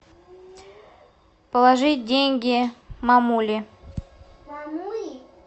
положить деньги мамуле